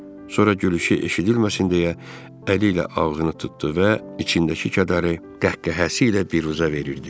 Sonra gülüşü eşidilməsin deyə əliylə ağzını tutdu və içindəki kədəri qəhqəhəsiylə biruzə verirdi.